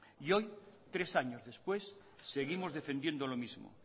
y hoy tres años después seguimos defendiendo lo mismo